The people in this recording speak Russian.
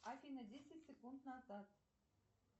афина десять секунд назад